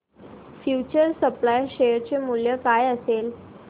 future supply share चे मूल्य काय असेल